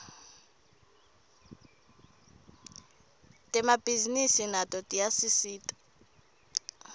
temabhisinisi nato tiyasisita